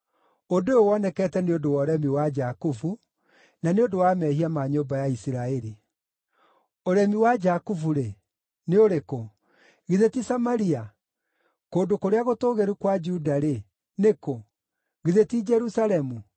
Ũndũ ũyũ wonekete nĩ ũndũ wa ũremi wa Jakubu, na nĩ ũndũ wa mehia ma nyũmba ya Isiraeli. Ũremi wa Jakubu-rĩ, nĩ ũrĩkũ? Githĩ ti Samaria? Kũndũ kũrĩa gũtũũgĩru kwa Juda-rĩ, nĩ kũ? Githĩ ti Jerusalemu?